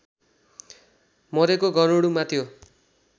मरेको गरूडमा त्यो